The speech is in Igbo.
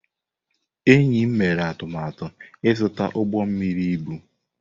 Enyi m mere atụmatụ ịzụta ụgbọ mmiri ibu.